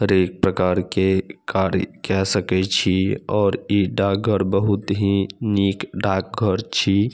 हरेक प्रकार के गाड़ी कह सके छै और ई डाकघर बहुत ही निक डाकघर छी।